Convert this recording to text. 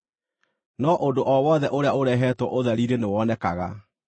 No ũndũ o wothe ũrĩa ũrehetwo ũtheri-inĩ nĩwonekaga,